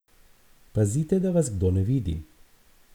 Pazite, da vas kdo ne vidi!